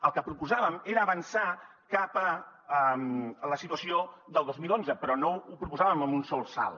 el que proposàvem era avançar cap a la situació del dos mil onze però no ho proposàvem amb un sol salt